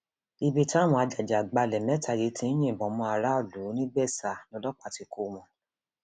ibi táwọn ajàgbàgbàlẹ mẹta yìí ti ń yìnbọn mọ aráàlú nìgbésà lọlọpàá ti kọ wọn